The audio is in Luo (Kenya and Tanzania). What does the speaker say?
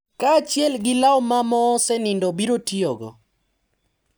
Kaachiel gi law ma moosenindo biro tiyogo.